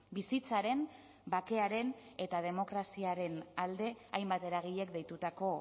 bizitzaren bakearen eta demokraziaren alde hainbat eragilek deitutako